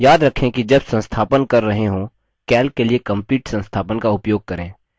याद रखें कि जब संस्थापन कर रहे हों calc के लिए complete संस्थापन का उपयोग करें